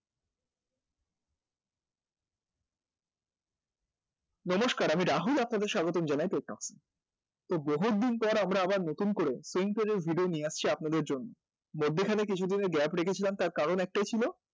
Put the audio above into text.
নমস্কার আমি রাহুল, আপনাদের স্বাগতম জানাই তো বহুদিন পর আমরা আবার নতুন করে পেইন্টারের video নিয়ে আসছি আপনাদের জন্য, মধ্যিখানে কিছুদিনের gap রেখেছিলাম তার কারণ একটাই ছিল